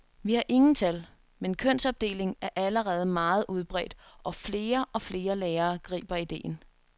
Vi har ingen tal, men kønsopdeling er allerede meget udbredt, og flere og flere lærere griber idéen.